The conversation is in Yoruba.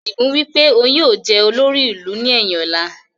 Adigun wípé òun yìí ó jẹ̀ olórí ìlú ni ẹyin ọ̀la